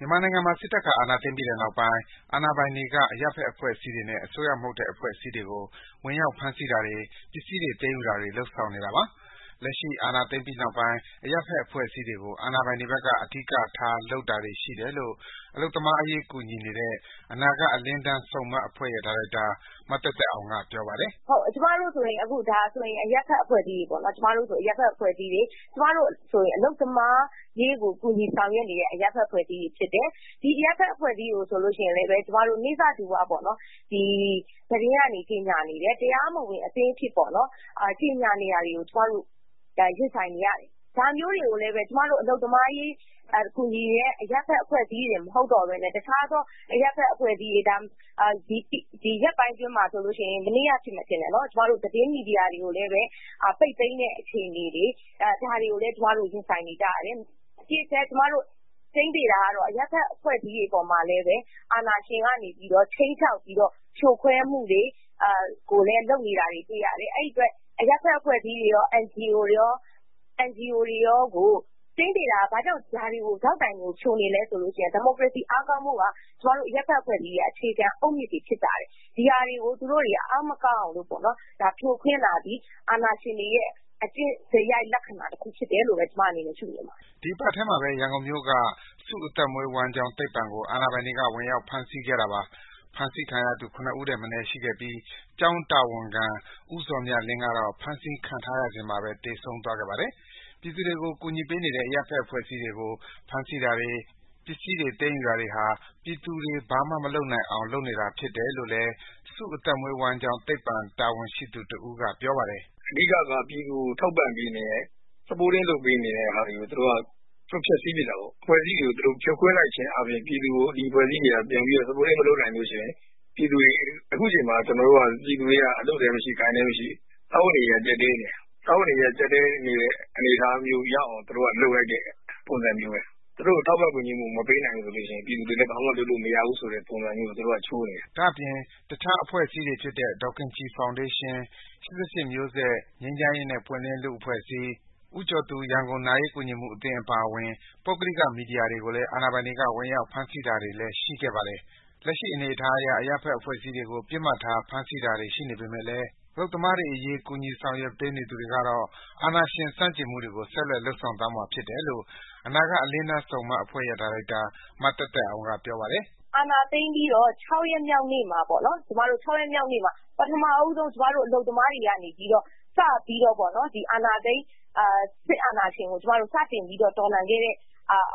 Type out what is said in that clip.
မြန်မာနိုင်ငံမှာ စစ်တပ်က အာဏာသိမ်းပြီးနောက်ပိုင်း အာဏာပိုင်တွေက အရပ်ဘက်အဖွဲ့ အစည်းတွေနဲ့ အစိုးရမဟုတ်တဲ့ အဖွဲ့အစည်းတွေကို ဝင်ရောက်ဖမ်းဆီးတာတွေ၊ ပစ္စည်းတွေ သိမ်းယုူတာတွေ လုပ်လာနေတာပါ။ လက်ရှိ အာဏာသိမ်းပြီးနောက်ပိုင်း အရပ်ဘက်အဖွဲ့အစည်းတွေကို အာဏာပိုင်တွေဘက်က အဓိကထားလုပ်တာတွေ ရှိတယ်လို့ အလုပ်အသမားအရေး ကူညီနေတဲ့ အနာဂတ် အလင်းတန်းဆုံမှတ်အဖွဲ့ရဲ့ ဒါရိုက်တာ မသက်သက်အောင်က ပြောပါတယ်။ “ကျမတို့ဆိုရင် အရပ်ဘက် အဖွဲ့အစည်းတွေပေါ့နော်... အလုပ်သမားအရေး ကူညီဆောင်ရွက်နေတဲ့ အရပ်ဘက်အဖွဲ့အစည်းတွေ ဖြစ်တယ်။ ဒီအရပ်ဘက်အဖွဲ့အစည်းတွေကို ဆိုလို့ရှိရင်လည်း ကျမတို့ နိစ္စဓူဝ သတင်းကနေ ကြေငြာနေတယ်။ တရားမဝင်အသင်းဆိုပြီးတော့ပေါ့နော်။ ဒါမျိုးတွေကို ကျမတို့အဖွဲ့အစည်း တစ်ခုတည်း မဟုတ်ဘဲ တခြားသော အရပ်ဘက်အဖွဲ့အစည်းတွေကိုလည်း သတင်းမီဒီယာတွေကို ပိတ်သိမ်းတဲ့ အခြေအနေတွေ ဒါတွေကိုလည်း ကျမတို့ ရင်ဆိုင်နေကြရတယ်။ သေချာတာက အရပ်ဘက်အဖွဲ့အစည်းတွေပေါ်မှာ အာဏာရှင်ကနေပြီးတော့ ခြိမ်းခြောက်ပြီးတော့ ဖြိုခွဲမှုတွေ လုပ်နေတာကိုလည်း တွေ့ရပါတယ်။ CSO တွေရော၊ NGO တွေရော ဘာကြောင့်ဒေါက်တိုင်ကို ဖြိုနေလဲဆိုတော့ ဒီမိုကရေစီ အားကောင်းဖို့က ကျမတို့ အရပ်ဘက်အဖွဲ့အစည်းတွေရဲ့ အခြေခံ အုပ်မြစ်တွေ ဖြစ်တယ်။ ဒါတွေကို အားမကောင်းအောင်လုပ်တာက အာဏာရှင်တွေရဲ့ အကျင့်စရိုက် လက္ခဏာ တစ်ခုလို့ပဲ ကျမမြင်ပါတယ်။” ဒီအပတ်ထဲမှာပဲ ရန်ကုန်မြို့က စုအသက်မွေးဝမ်းကျောင်း သိပ္ပံကို အာဏာပိုင်တွေက ဝင်ရောက်ဖမ်းဆီးတာပါ။ ဖမ်းဆီးခံရသူ ၇ ဦးထက်မနည်းရှိပြီး ကျောင်းတာဝန်ခံ ဦးဇော်မြတ်လင်းကတော့ ဖမ်းဆီးခံထားရစဉ်မှာပဲ သေဆုံးသွားခဲ့ပါတယ်။ ပြည်သူတွေကို ကူညီပေးနေတဲ့ အရပ်ဘက်အဖွဲ့အစည်းတွေကို ဖမ်းဆီးတာတွေ၊ ပစ္စည်းတွေ သိမ်းယူတာတွေဟာ ပြည်သူတွေ ဘာမှမလုပ်နိုင်အောင် လုပ်နေတာဖြစ်တယ်လို့လည်း စုအသက်မွေးဝမ်းကျောင်းသိပ္ပံ တာဝန်ရှိသူတစ်ဦးကပြောပါတယ်။ “အဓိက ပြည်သူကို ထောက်ပံ့ပေးနေတာကို သူတို့က ဖျက်စီးပစ်တာပေါ့။ ဒီအဖွဲ့အစည်းတွေကို ဖြိုခွင်းလိုက်ခြင်းအားဖြင့် ဒီအဖွဲ့အစည်းတွေက ပြည်သူကို မထောက်ပံ့နိုင်လို့ရှိရင် အခုဆိုရင် ပြည်သူတွေက အလုပ်အကိုင်လည်း ရှိကြတာမဟုတ်။ စားဝတ်နေရေးတွေက ကြပ်တည်းနေတယ်။ ဒီလိုအနေအထားရောက်အောင် သူတို့က လုပ်လိုက်တဲ့ အနေအထားပဲ။ သူတို့ကို ထောက်ပံ့တဲ့ သူတွေမရှိတော့ရင် ပြည်သူတွေလည်း ဘာမှလုပ်နိုင်တာ မဟုတ်ဘူးဆိုတဲ့ အချိုးနဲ့ လုပ်နေတာ။” ဒါအပြင့် တခြားအဖွဲ့အစည်းတွေ ဖြစ်တဲ့ ဒေါ်ခင်ကြည်ဖောင်ဒေးရှင်း၊ ၈၈ မျိုးဆက် ငြိမ်းချမ်ရေးနဲ့ ပွင့်လင်း လူ့အဖွဲ့အစည်း၊ ဦးကျော်သူ ရန်ကုန်နာရေးကူညီမှုအသင်း အပါအဝင် ပုဂ္ဂလိက မီဒီယာတွေကိုလည်း အာဏာပိုင်တွေက ဝင်ရောက်ဖမ်းဆီးရှာဖွေတာတွေလည်း ရှိခဲ့ပါတယ်။ လက်ရှိအနေအထားအရ အရပ်ဘက်အဖွဲ့အစည်းတွေကို ပစ်မှတ်ထား ဖမ်းဆီးတာတွေ ရှိနေပေမယ့်လည်း အလုပ်သမားတွေ ကူညီရေးအဖွဲ့တွေကတော့ အာဏာရှင် ဆန့်ကျင်မှုတွေကို ဆက်လက်လုပ်ဆောင်သွားမှာ ဖြစ်တယ်လို့ အနာဂတ် အလင်းတန်းဆုံမှတ်အဖွဲ့ရဲ့ ဒါရိုက်တာ မသက်သက်အောင်က ပြောပါတယ်။ “အာဏာသိမ်းပြီးတော့ ၆ ရက်မြောက်နေ့မှာ ပထမဦးဆုံး ကျမတို့ အလုပ်သမား တွေကနေပြီးတော့ စပြီး အာဏာသိမ်း စစ်အာဏာရှင်ကို စတင်ပြီးတော့ တော်လှန်ခဲ့တဲ့